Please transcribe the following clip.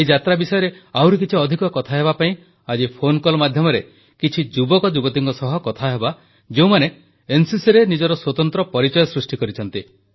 ଏହି ଯାତ୍ରା ବିଷୟରେ ଆହୁରି କିଛି ଅଧିକ କଥା ହେବାପାଇଁ ଆଜି ଫୋନକଲ୍ ମାଧ୍ୟମରେ କିଛି ଯୁବକ ଯୁବତୀଙ୍କ ସହ କଥାହେବା ଯେଉଁମାନେ ଏନସିସିରେ ନିଜର ସ୍ୱତନ୍ତ୍ର ପରିଚୟ ସୃଷ୍ଟି କରିଛନ୍ତି